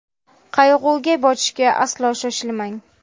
Qayg‘uga botishga aslo shoshilmang!